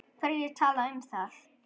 Hverjir tala um það?